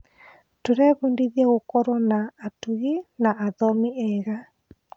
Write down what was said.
Tũrebundithia gũkorwo atungi na athomi eega.